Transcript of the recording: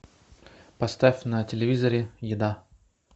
поставь на телевизоре еда